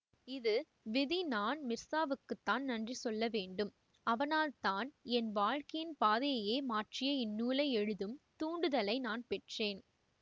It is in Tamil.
இது விதி நான் மிர்சாவுக்குத்தான் நன்றி சொல்ல வேண்டும் அவனால்தான் என் வாழ்க்கையின் பாதையையே மாற்றிய இந்நூலை எழுதும் தூண்டுதலை நான் பெற்றேன்